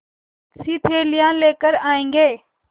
बहुतसी थैलियाँ लेकर आएँगे